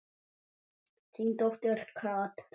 Þín dóttir Katrín.